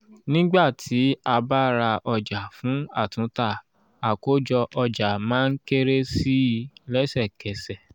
nígbà tí a bá ra ọjà fún àtúntà àkójọ ọjà má ń kéré sí i lẹ́sẹ̀kẹ́sẹ̀.